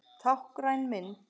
Táknræn mynd.